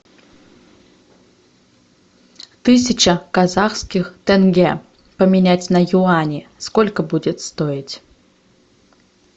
тысяча казахских тенге поменять на юани сколько будет стоить